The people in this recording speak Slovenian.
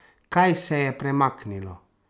Kaj se je premaknilo?